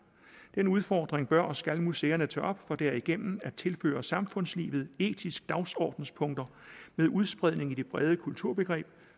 den udfordring bør og skal museerne tage op for derigennem at tilføre samfundslivet etiske dagsordenspunkter med udspredning af det brede kulturbegreb